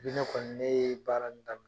ne kɔni ne ye baara in daminɛ